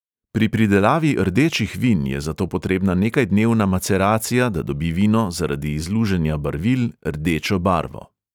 Pri pridelavi rdečih vin je zato potrebna nekajdnevna maceracija, da dobi vino zaradi izluženja barvil rdečo barvo.